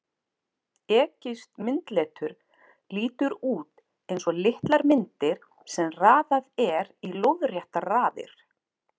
Egypskt myndletur lítur út eins og litlar myndir sem raðað er í lóðréttar raðir.